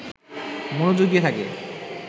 মনযোগ দিয়ে থাকে